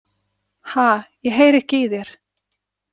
Ha, ég heyri ekki í þér.